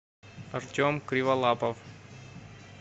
артем криволапов